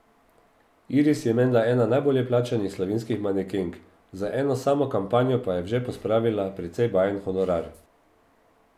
Iris je menda ena najbolje plačanih slovenskih manekenk, za eno samo kampanjo pa je v žep pospravila precej bajen honorar.